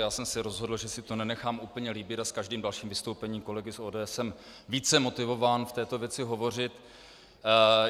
Já jsem se rozhodl, že si to nenechám úplně líbit, a s každým dalším vystoupením kolegy z ODS jsem více motivován v této věci hovořit.